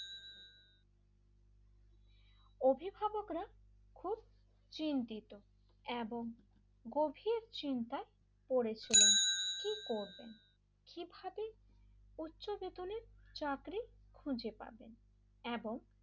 অভিভাবকরা খুব চিন্তিত এবং গভীর চিন্তায় পড়েছিলেন কি করবেন কিভাবে উচ্চ বেতনের চাকরি খুঁজে পাবেন এবং,